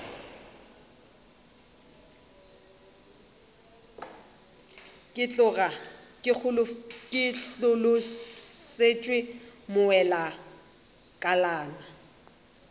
ke tloga ke hlolosetšwe bowelakalana